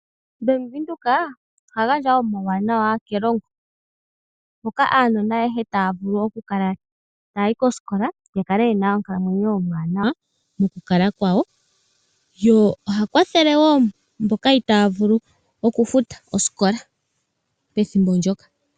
Bank windhoek oha gandja omawuwanawa kelongo, moka aanona ayehe taya vulu oku kala ta yayi kosikola ya kale ye na oonkalamwenyo oombwanawa mokukala kwawo, ye oha kwathele wo mboka itaya vulu oku futa osikola pethimbo ndjoka.